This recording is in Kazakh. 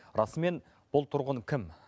расымен бұл тұрғын кім